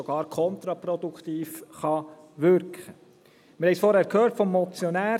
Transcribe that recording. Wir haben vorhin vom Motionär gehört: